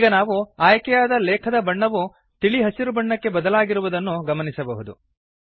ಈಗ ನಾವು ಆಯ್ಕೆಯಾದ ಲೇಖದ ಬಣ್ಣವು ತಿಳಿ ಹಸಿರು ಬಣ್ಣಕ್ಕೆ ಬದಲಾಗಿರುವುದನ್ನು ಗಮನಿಸಬಹುದು